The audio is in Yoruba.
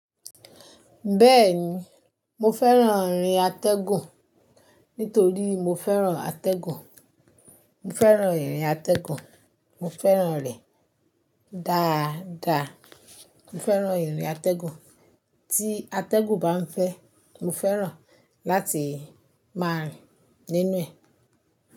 Bẹ́ẹ̀ni, mo fẹ́ràn ìrìn atẹ́gùn nítorí mo fẹ́ràn atẹ́gùn. Mo fẹ́ràn ìrìn atẹ́gùn, mo fẹ́ràn rẹ̀ dáadáa. Mo fẹ́ràn ìrìn atẹ́gùn, tí atẹ́gùn bá ń fẹ́, mo fẹ́ràn láti máa rìn nínú ẹ̀.